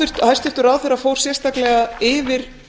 hæstvirtur ráðherra fór sérstaklega yfir